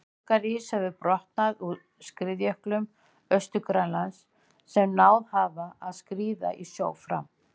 Borgarís hefur brotnað úr skriðjöklum Austur-Grænlands sem náð hafa að skríða í sjó fram.